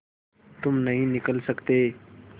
तुम नहीं निकल सकते